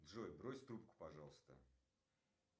джой брось трубку пожалуйста